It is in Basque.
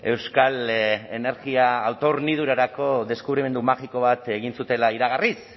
euskal energia autohornidurarako deskubrimendu magiko bat egin zutela iragarriz